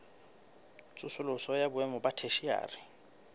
tsosoloso ya boemo ba theshiari